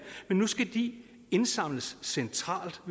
men nu skal de indsamles centralt og